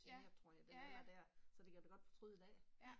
Ja, ja ja, ja